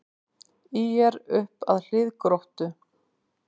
ÍR upp að hlið Gróttu